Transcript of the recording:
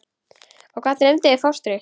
Og hvað dreymdi þig fóstri?